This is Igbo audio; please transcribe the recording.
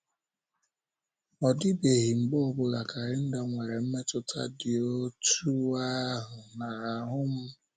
Ọ dịbeghị mgbe ọ bụla kalenda nwere mmetụta dị otú ahụ n’ahụ́ m.